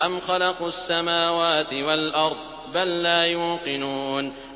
أَمْ خَلَقُوا السَّمَاوَاتِ وَالْأَرْضَ ۚ بَل لَّا يُوقِنُونَ